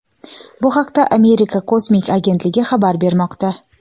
Bu haqda Amerika kosmik agentligi xabar bermoqda.